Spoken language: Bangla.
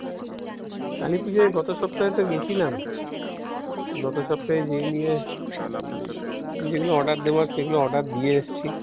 কালিপূজায় গত সপ্তাহে তো গেছিলাম, গত সপ্তাহে যেদিনকে উম যেগুলো order দেবার সেগুলো order দিয়ে এসেছি.